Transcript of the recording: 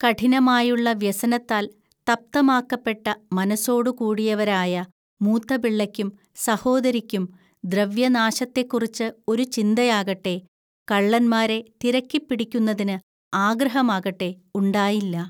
കഠിനമായുള്ള വ്യസനത്താൽ തപ്തമാക്കപ്പെട്ട മനസ്സോടുകൂടിയവരായ മൂത്തപിള്ളയ്ക്കും സഹോദരിക്കും ദ്രവ്യനാശത്തെക്കുറിച്ച് ഒരു ചിന്തയാകട്ടെ, കള്ളന്മാരെ തിരക്കിപ്പിടിക്കുന്നതിന് ആഗ്രഹമാകട്ടെ ഉണ്ടായില്ല